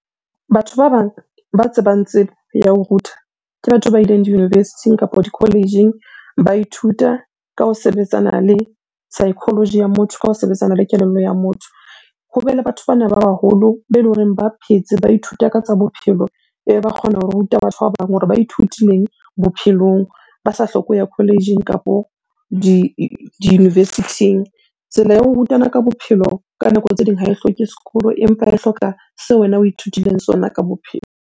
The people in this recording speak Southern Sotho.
Batho ba bang ba tsebang tsebo ya ho ruta, ke batho ba ileng di-university-ng kapo di-college-ing ba ithuta ka ho sebetsana le psychology ya motho, ka ho sebetsana le kelello ya motho. Ho be le batho bana ba baholo, be leng hore ba phetse, ba ithuta ka tsa bophelo, e ba kgona ho ruta batho ba bang hore ba ithutileng bophelong, ba sa hloke ho ya college-ing kapo di-university-ng. Tsela ya ho rutana ka bophelo ka nako tse ding ha e hloke sekolo, empa e hloka seo wena o ithutileng sona ka bophelo.